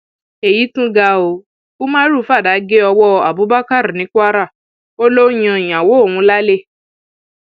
èyí tún gé o umaru fàdà gé ọwọ abubakar ní kwara ó lọ ń yan ìyàwó òun lálẹ